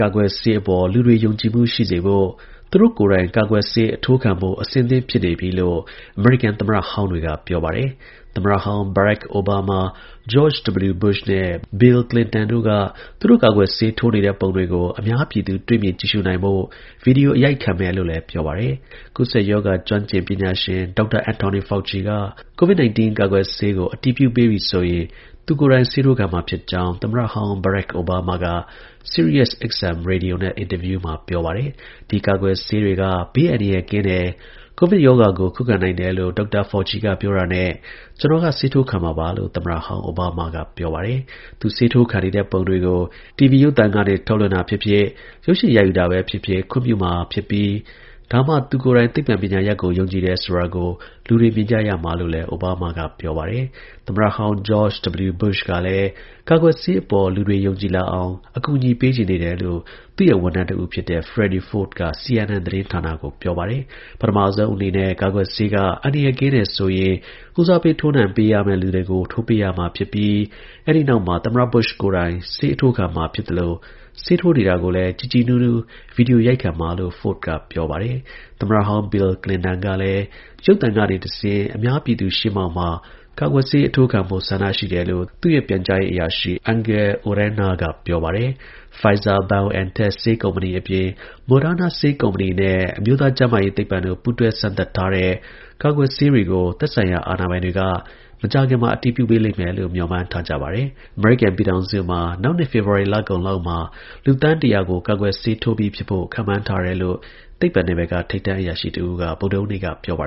ကာကွယ်ဆေးအပေါ် လူတွေ ယုံကြည်မှု ရှိစေဖို့ သူတို့ကိုယ်တိုင် ကာကွယ်ဆေး အထိုးခံဖို့ အဆင့်သင့် ဖြစ်နေပြီလို့ အမေရိကန် သမ္မတဟောင်းတွေက ပြောပါတယ်။ သမ္မတဟောင်း Barack Obama ၊ George W. Bush နဲ့ Bill Clinton တို့က သူတို့ ကာကွယ်ဆေး ထိုးနေတဲ့ ပုံတွေကို အများပြည်သူ တွေ့မြင် ကြည့်ရှုနိုင်ဖို့ ဗွီဒီယို အရိုက်ခံမယ်လို့လည်း ပြောပါတယ်။ ကူးစက်ရောဂါ ကျွမ်းကျင်ပညာရှင် ဒေါက်တာ Anthony Fauci က COVID-19 ကာကွယ်ဆေးကို အတည်ပြုပေးပြီဆိုရင် သူကိုယ်တိုင် ဆေးထိုးခံမှာဖြစ်ကြောင်း သမ္မတ ဟောင်း Barack Obama က Sirius XM ရေဒီယိုနဲ့ အင်တာဗျူးမှာ ပြောပါတယ်။ ဒီကာကွယ်ဆေးတွေက ဘေးအန္တရာယ်ကင်းတယ်။ COVID ရောဂါကို ခုခံနိုင်တယ်လို့ ဒေါက်တာ Fauci က ပြောတာနဲ့ ကျွန်တော်က ဆေးထိုးခံမှာပါလို့ သမ္မတဟောင်း Obama ကပြောပါတယ်။ သူဆေးထိုးခံနေတဲ့ ပုံတွေကို TV ရုပ်သံကနေ ထုတ်လွှင့်တာဖြစ်ဖြစ်၊ ရုပ်ရှင်ရိုက်ယူတာပဲဖြစ်ဖြစ် ခွင့်ပြုမှာဖြစ်ပြီး ဒါမှ သူကိုယ်တိုင် သိပ္ပံ ပညာရပ်ကို ယုံကြည်တယ်ဆိုတာကို လူတွေ မြင်ကြမှာလို့လည်း Obama ကပြောပါတယ်။ သမ္မတဟောင်း George W. Bush ကလည်း ကာကွယ်ဆေးအပေါ် လူတွေ ယုံကြည်လာအောင် အကူအညီ ပေးချင်နေတယ်လို့ သူ့ရဲ့ ဝန်ထမ်းတဦးဖြစ်တဲ့ Freddy Ford က CNN သတင်းကို ပြောပါတယ်၊ ပထမဦးဆုံးအနေနဲ့ ကာကွယ်ဆေးက အန္တရာယ်ကင်း တယ်ဆိုရင် ဦးစားပေး ထိုးနှံပေးထိုးနှံရမယ့် လူတွေထိုးပေးရမှာ ဖြစ်ပြီး အဲဒီ နောက်မှာ သမ္မတ Bush ကိုယ်တိုင် ဆေးအထိုးခံမှာ ဖြစ်သလို ဆေးထိုးနေတာကိုလည်း ကြည်ကြည်နူးနူး ဗွီဒီယိုရိုက်ခံမှာလို့ Ford က ပြောပါတယ်။ သမ္မတဟောင်း Bill Clinton ကလည်းရုပ်သံကနေတဆင့် အများပြည်သူရှေ့မှာ ကာကွယ်ဆေးအထိုးခံဖို့ ဆန္ဒရှိတယ်လို့သူ့ရဲ့ပြန်ကြားရေး အရာရှိ Angel Urena က ပြောပါတယ်။ Pfizer-BioNTech ဆေးကုမ္ပဏီအပြင် Moderna ဆေးကုမ္ပဏီနဲ့ အမျိုးသား ကျန်းမာရေးသိပ္ပံတို့ ပူးတွဲစမ်းသပ်ထားတဲ့ ကာကွယ်ဆေး တွေ ကို သက်ဆိုင်ရာအာဏာပိုင်တွေက မကြာခင်မှာ အတည်ပြုပေးလိမ့်မယ်လို့ မျှော်မှန်းထားကြပါတယ်။ အမေရိကန်ပြည်ထောင်စု မှာ နောက်နှစ် ဖေဖော် ဝါရီ လကုန်ပိုင်းလောက်မှာ လူသန်း ၁၀၀ ကို ကာကွယ်ဆေးထိုးပေးပြီးဖြစ်ဖို့ ခန့်မှန်းထားတယ် လို့ သိပ္ပံ နယ်ပယ်က ထိပ်တန်း အရာရှိတဦးက ဗုဒ္ဓဟူးနေ့ကပြောပါ